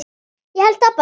Ég held það bara.